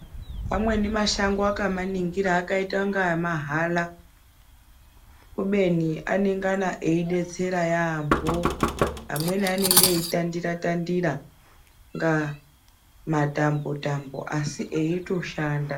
Amweni mashango wakamaningira akaita kunga emahala kubeni anongana eibetsera yaamho. Amweni anenge eitandira tandira kunga matambo tambo asi eitoshanda.